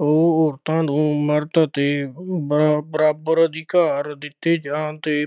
ਉਹ ਔਰਤਾਂ ਨੂੰ ਮਰਦ ਅਤੇ ਬਰਾ ਅਹ ਬਰਾਬਰ ਅਧਿਕਾਰ ਦਿੱਤੇ ਜਾਣ ਦੇ